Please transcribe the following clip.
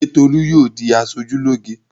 Ṣé Tolú yóò di aṣojúlóge?